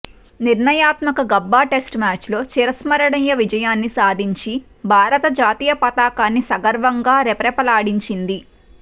నిర్ణయాత్మక Gabba test మ్యాచ్లో చిరస్మరణీయ విజయాన్ని సాధించి భారత్ జాతీయ పతకాన్ని సగర్వంగా రెపరెపలాడించింది